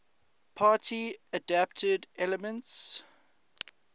party adapted elements